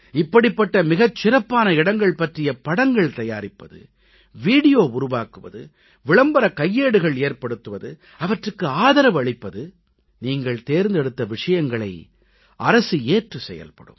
இப்படிப்பட்ட மிகச் சிறப்பான இடங்கள் பற்றிய படங்கள் தயாரிப்பது வீடியோ உருவாக்குவது விளம்பரக் கையேடுகள் ஏற்படுத்துவது அவற்றுக்கு ஆதரவு அளிப்பது நீங்கள் தேர்ந்தெடுத்த விஷயங்களை அரசு ஏற்றுச் செயல்படும்